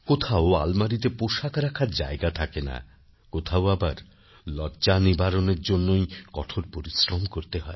কোথাও আলমারিতে পোষাক রাখার জায়গা থাকে না কোথাও আবার লজ্জা নিবারণের জন্যই কঠোর পরিশ্রম করতে হয়